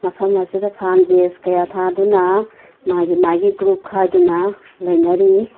ꯐꯝ ꯑꯁꯤꯗ ꯐꯥꯟ ꯕꯦꯟꯁ ꯀꯌꯥ ꯊꯥꯗꯨꯅ ꯃꯥꯒꯤ ꯃꯥꯒꯤ ꯒ꯭ꯔꯨꯞ ꯈꯥꯏꯗꯨꯅ ꯂꯩꯅꯔꯤ꯫